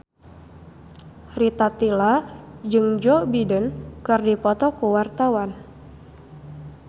Rita Tila jeung Joe Biden keur dipoto ku wartawan